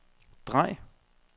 drej